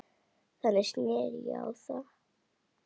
Þannig sneri ég á þá.